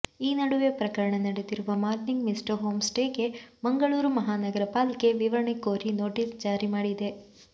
ಈ ನಡುವೆ ಪ್ರಕರಣ ನಡೆದಿರುವ ಮಾರ್ನಿಂಗ್ ಮಿಸ್ಟ್ ಹೋಂಸ್ಟೇಗೆ ಮಂಗಳೂರು ಮಹಾನಗರ ಪಾಲಿಕೆ ವಿವರಣೆ ಕೋರಿ ನೋಟಿಸ್ ಜಾರಿ ಮಾಡಿದೆ